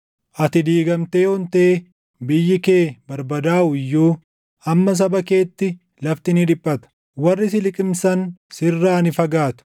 “Ati diigamtee ontee biyyi kee barbadaaʼu iyyuu amma saba keetti lafti ni dhiphata; warri si liqimsan sirraa ni fagaatu.